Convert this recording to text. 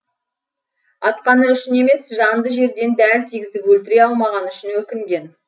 атқаны үшін емес жанды жерден дәл тигізіп өлтіре алмағаны үшін өкінген